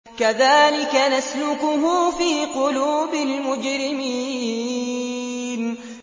كَذَٰلِكَ نَسْلُكُهُ فِي قُلُوبِ الْمُجْرِمِينَ